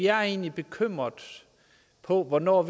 er egentlig bekymrede for hvornår